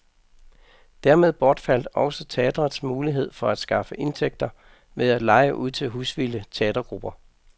Dermed bortfaldt også teatrets mulighed for at skaffe indtægter ved at leje ud til husvilde teatergrupper.